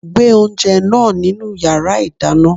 Gbe oúnjẹ náà nínu yàrá ìdáná!